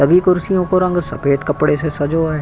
सभी कुर्सियों को रंग सफेद कपड़े से सजो है।